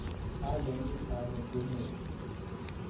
ayani ale kenyoru